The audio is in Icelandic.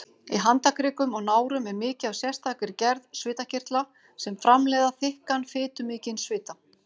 Í handarkrikum og nárum er mikið af sérstakri gerð svitakirtla sem framleiða þykkan, fitumikinn svita.